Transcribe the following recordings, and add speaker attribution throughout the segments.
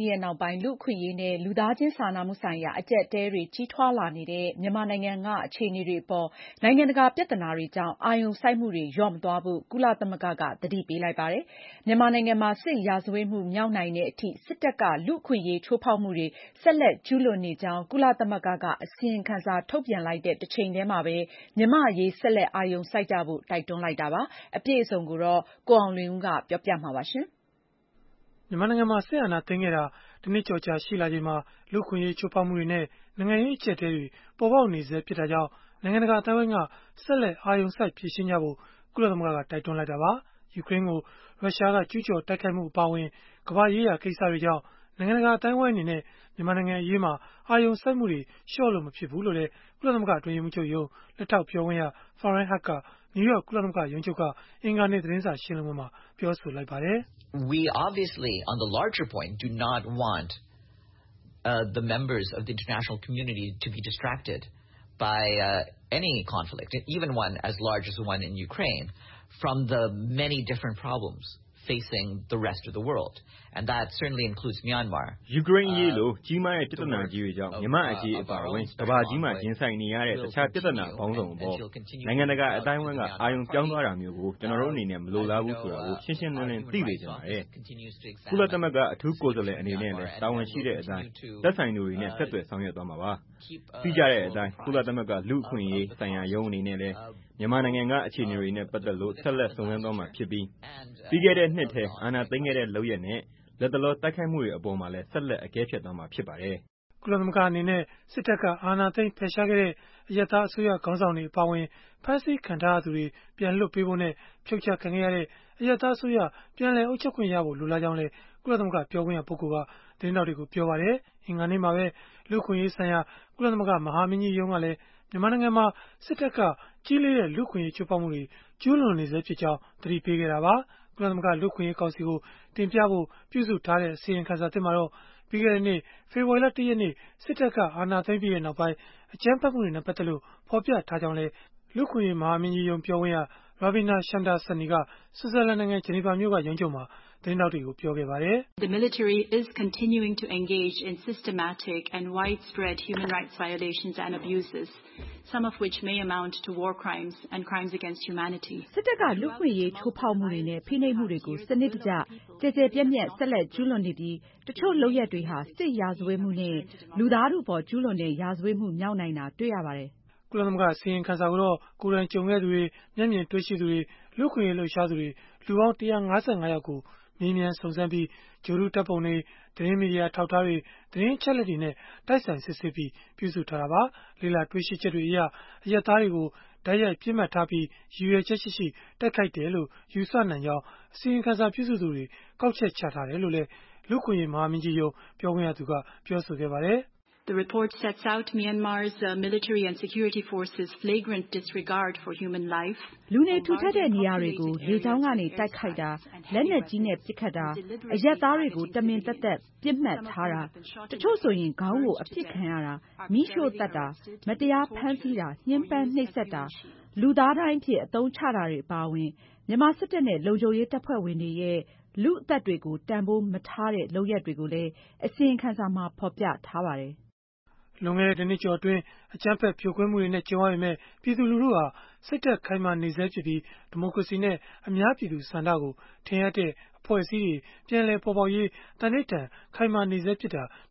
Speaker 1: ပြီးနောက်ပိုင်း လူ့အခွင့်အရေးနဲ့ လူသားချင်း စာနာမှုဆိုင်ရာ အကျပ်အတည်းတွေ ကြီးထွားလာနေတဲ့ မြန်မာနိုင်ငံက အခြေအနေတွေအပေါ် နိုင်ငံတကာ ပြဿနာတွေကြောင့် အာရုံစိုက်မှုတွေ လျော့မသွားဖို့ ကုလသမဂ္ဂက သတိပေးလိုက်ပါတယ်။ မြန်မာနိုင်ငံမှာ စစ်ရာဇဝတ်မှု မြောက်နိုင်တဲ့အထိ စစ်တပ်က လူ့အခွင့်အရေး ချိုးဖောက်မှုတွေ ဆက်လက် ကျုးလွန်နေကြောင်း ကုလသမဂ္ဂက အစီရင်ခံစာ ထုတ်ပြန်လိုက်တဲ့ တချိန်တည်းမှာပဲ မြန်မာ့အရေး ဆက်လက် အာရုံစိုက်ကြဖို့ တိုက်တွန်းလိုက်တာပါ။ အပြည့်အစုံကိုတော့ ကိုအောင်လွင်ဦး ကပြောပြပေးမှာ ဖ
Speaker 2: ြစ်ပါတယ်။ မြန်မာနိုင်ငံမှာ စစ်အာဏာသိမ်းခဲ့တာ ၁ နှစ်ကျော်ကြာ ရှိလာချိန်မှာ လူ့အခွင့်အရေး ချိုးဖောက်မှုတွေနဲ့ နိုင်ငံရေး အကျပ်အတည်းတွေ ပေါ်ပေါက်နေဆဲ ဖြစ်တာကြောင့် နိုင်ငံတကာ အသိုင်းအဝန်းက ဆက်လက် အာရုံစိုက် ဖြေရှင်းကြဖို့ ကုလသမဂ္ဂက တိုက်တွန်းလိုက်တာပါ။ ယူကရိန်းကို ရုရှားက ကျုးကျော်တိုက်ခိုက်မှုအပါအဝင် ကမ္ဘာ့ရေးရာ ကိစ္စတွေကြောင့် နိုင်ငံတကာ အသိုင်းအဝန်းအနေနဲ့ မြန်မာနိုင်ငံအရေးမှာ အာရုံစိုက်မှုတွေ လျော့လို့ မဖြစ်ဘူးလို့လည်း ကုလသမဂ္ဂ အတွင်းရေးမှူးချုပ်ရုံး လက်ထောက်ပြောခွင့်ရ Farhan Haq က နယူးယောက် ကုလသမဂ္ဂရုံးချုပ်က အင်္ဂါနေ့ သတင်းစာ ရှင်းလင်းပွဲမှာ ပြောဆိုလိုက်ပါတယ်။ “
Speaker 1: ယူကရိန်းအ
Speaker 3: ရေးလို ကြီးမားတဲ့ ပြဿနာကြီးတွေကြောင့်၊ မြန်မာ့အရေး အပါအဝင် ကမ္ဘာကြီးမှာ ရင်ဆိုင်နေရတဲ့ တခြားပြဿနာ ပေါင်းစုံအပေါ် နိုင်ငံတကာ အသိုင်းအဝန်းက အာရုံပြောင်းသွားတာမျိုးကို ကျနော်တို့ အနေနဲ့ မလိုလားဘူး ဆိုတာကို ရှင်းရှင်းလင်းလင်း သိစေချင်ပါတယ်။ ကုလသမဂ္ဂ အထူးကိုယ်စားလှယ် အနေနဲ့လည်း တာဝန်ရှိတဲ့အတိုင်း သက်ဆိုင်သူတွေနဲ့ ဆက်သွယ်ဆောင်ရွက် သွားမှာပါ။ သိကြတဲ့အတိုင်း၊ ကုလသမဂ္ဂ လူ့အခွင့်အရေးဆိုင်ရာရုံး အနေနဲ့လည်း မြန်မာနိုင်ငံက အခြေအနေတွေနဲ့ ပတ်သက်လို့ ဆက်လက် စုံစမ်းသွားမှာဖြစ်ပြီး၊ ပြီးခဲ့တဲ့နှစ်ထဲ အာဏာသိမ်းခဲ့တဲ့ လုပ်ရပ်နဲ့ လတ်တလော တိုက်ခိုက်မှုတွေ အပေါ်မှာလည်း ဆက်လက် အကဲဖြတ်သွားမှာ ဖြစ်ပါတယ်။
Speaker 2: ” ကုလသမဂ္ဂ အနေနဲ့ စစ်တပ်က အာဏာသိမ်း ဖယ်ရှားခဲ့တဲ့ အရပ်သား အစိုးရခေါင်းဆောင်တွေ အပါအဝင် ဖမ်းဆီးခံထားရသူတွေ ပြန်လွှတ်ပေးဖို့နဲ့ ဖြုတ်ချခံခဲ့ရတဲ့ အရပ်သားအစိုးရ ပြန်လည်အုပ်ချုပ်ခွင့်ရဖို့ လိုလားကြောင်းလည်း ကုလသမဂ္ဂ ပြောခွင့်ရ ပုဂ္ဂိုလ်က သတင်းထောက်တွေကို ပြောပါတယ်။ လူ့အခွင့်အရေးဆိုင်ရာ ကုလသမဂ္ဂ မဟာမင်းကြီးရုံးကလည်း မြန်မာနိုင်ငံမှာ စစ်တပ်က ကြီးလေးတဲ့ လူ့အခွင့်အရေး ချိုးဖောက်မှုတွေ ကျုးလွန်နေဆဲဖြစ်ကြောင်း အင်္ဂါနေ့ အစောပိုင်းမှာပဲ သတိပေးခဲ့တာပါ။ ကုလသမဂ္ဂ လူ့အခွင့်ရေး ကောင်စီကို တင်ပြဖို့ ပြုစုထားတဲ့ အစီရင်ခံစာသစ်မှာတော့ ပြီးခဲ့တဲ့နှစ် ဖေဖော်ဝါရီလ ၁ ရက်နေ့ စစ်တပ်က အာဏာသိမ်းပြီးနောက်ပိုင်း အကြမ်းဖက်မှုတွေနဲ့ ပတ်သက်လို့ ဖော်ပြထားကြောင်းလည်း လူ့အခွင့်အရေး မဟာမင်းကြီးရုံး ပြောခွင့်ရ Ravina Shamdasani က ဆွစ်ဇာလန်နိုင်ငံ ဂျနီဗာမြို့က ရုံးချုပ်မှာ သတင်းထောက်တွေကို ပြောခဲ့ပါတယ်။ “
Speaker 1: စစ်တပ်က လူ့အခွင့်အရေး ချိုးဖောက်မှုတွေနဲ့ ဖိနှိပ်မှုတွေကို စနစ်တကျ၊ ကျယ်ကျယ်ပြန့်ပြန့် ဆက်လက်ကျုးလွန်နေပြီး၊ တချို့လုပ်ရပ်တွေဟာ စစ်ရာဇဝတ်မှုနဲ့ လူသားထုအပေါ် ကျုးလွန်တဲ့ ရာဇဝတ်မှုမြောက်နိုင်တာ တွေ့ရပါတယ်။”
Speaker 2: ကုလသမဂ္ဂ အစီရင်ခံစာကိုတော့ ကိုယ်တိုင်ကြုံခဲ့သူတွေ၊ မျက်မြင်တွေ့ရှိသူတွေ၊ လူ့အခွင့်အရေး လှုပ်ရှားသူတွေ လူပေါင်း ၁၅၅ ယောက်ကို မေးမြန်းစုံစမ်းပြီး၊ ဂြိုဟ်တုဓာတ်ပုံတွေ၊ သတင်းမီဒီယာ အထောက်အထားတွေ၊ သတင်းအချက်အလက်တွေနဲ့ တိုက်ဆိုင်စစ်ဆေးပြီး ပြုစုထားတာပါ။ လေ့လာတွေ့ရှိချက်တွေအရ အရပ်သားတွေကို တိုက်ရိုက်ပစ်မှတ်ထားပြီး ရည်ရွယ်ချက်ရှိရှိ တိုက်ခိုက်တယ်လို့ ယူဆနိုင်ကြောင်း အစီရင်ခံစာ ပြုစုသူတွေ ကောက်ချက်ချထားတယ်လို့လည်း လူ့အခွင့်အရေး မဟာမင်းကြီးရုံး ပြောခွင့်ရက ပြောပါတယ်။ “လူနေထူထပ်တဲ့ နေရာတွေကို လေကြောင
Speaker 1: ်းကနေ တိုက်ခိုက်တာ၊ လက်နက်ကြီးနဲ့ ပစ်ခတ်တာ၊ အရပ်သားတွေကို တမင်သက်သက် ပစ်မှတ်ထားတာ၊ တချို့ဆိုရင် ခေါင်းကိုအပစ်ခံရတာ၊ မီးရှို့သတ်တာ၊ မတရားဖမ်းဆီးတာ၊ ညှင်းပမ်းနှိပ်စက်တာ၊ လူသားဒိုင်းအဖြစ် အသုံးချတာတွေ အပါအဝင် မြန်မာစစ်တပ်နဲ့ လုံခြုံရေးတပ်ဖွဲ့ဝင်တွေရဲ့ လူ့အသက်တွေကို တန်ဘိုးမထားတဲ့ လုပ်ရပ်တွေကိုလည်း အစီရင်ခံစာမှာ ဖော်ပြထားပါတယ်။”
Speaker 2: လွန်ခဲ့တဲ့ ၁ နှစ်ကျော်အတွင်း အကြမ်းဖက်ဖြိုခွင်းမှုတွေနဲ့ ကြုံရပေမဲ့ ပြည်သူလူထုဟာ စိတ်ဓာတ်ခိုင်မာနေဆဲဖြစ်ပြီး၊ ဒီမိုကရေစီနဲ့ အများပြည်သူ ဆန္ဒကိုထင်ဟပ်တဲ့ အဖွဲ့အစည်းတွေ ပြန်လည်ပေါ်ပေါက်ရေး သန္နိဌာန် ခိုင်မာနေတာ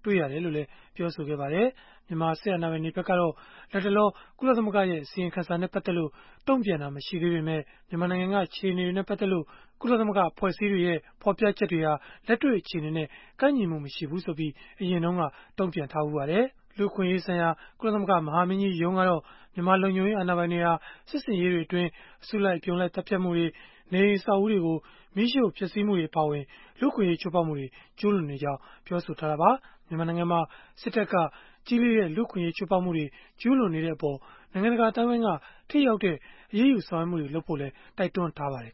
Speaker 2: တွေ့ရတယ်လို့လည်း ပြောပါတယ်။ မြန်မာစစ်အာဏာပိုင်တွေဖက်ကတော့ လတ်တလော ကုလသမဂ္ဂရဲ့ အစီရင်ခံစာနဲ့ ပတ်သက်လို့ တုံ့ပြန်တာ မရှိသေးပေမဲ့ မြန်မာနိုင်ငံက အခြေအနေတွေနဲ့ ပတ်သက်လို့ ဖော်ပြချက်တွေဟာ လက်တွေ့ အခြေအနေနဲ့ ကိုက်ညီမှု မရှိဘူးဆိုပြီး အရင်တုန်းက တုံ့ပြန်ခဲ့ဖူးပါတယ်။ လူ့အခွင့်အရေးဆိုင်ရာ ကုလသမဂ္ဂ မဟာမင်းကြီးရုံးကတော့ မြန်မာလုံခြုံရေးအာဏာပိုင်တွေဟာ စစ်ဆင်ရေးတွေအတွင်း အစုလိုက်အပြုံလိုက် သတ်ဖြတ်မှုတွေ၊ နေအိမ်အဆောက်အဦးတွေကို မီးရှို့ဖျက်ဆီးမှုတွေ အပါအဝင် လူ့အခွင့်အရေး ချိုးဖောက်မှုတွေ ကျုးလွန်နေကြောင်း ပြောဆိုခဲ့တာပါ။ မြန်မာနိုင်ငံမှာ စစ်တပ်က ကြီးလေးတဲ့ လူ့အခွင့်အရေး ချိုးဖောက်မှုတွေ ကျုးလွန်နေတဲ့အပေါ် နိုင်ငံတကာ အသိုင်းအဝန်းက ထိရောက်တဲ့ အရေးယူဆောင်ရွက်မှုတွေလုပ်ဖို့လည်း တိုက်တွန်းထားပါတယ်